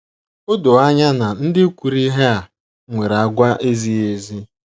O do anya na ndị kwuru ihe a nwere àgwà - ezighị ezi.